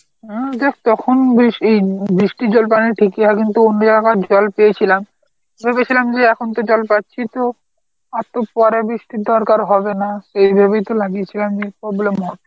অ্যাঁ দেখ তখন বেশ এই বৃষ্টির জল পানি ঠিকই আর কিন্তু অন্য জায়গার জল পেয়েছিলাম ভেবেছিলাম যে এখন তো জল পাচ্ছি তো আর তো পরে বৃষ্টির দরকার হবে না, সেই ভেবেই তো লাগিয়েছিলাম যে problem হ~